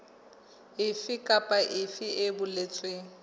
efe kapa efe e boletsweng